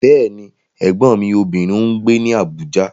Bẹ́ẹ̀ni, Ẹ̀gbọ́n mi obìnrin ń gbé ní Abuja.